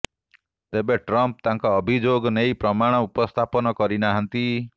ତେବେ ଟ୍ରମ୍ପ ତାଙ୍କ ଅଭିଯୋଗ ନେଇ ପ୍ରମାଣ ଉପସ୍ଥାପନ କରିନାହାନ୍ତି